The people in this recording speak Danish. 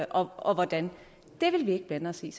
og og hvordan det vil vi ikke blande os i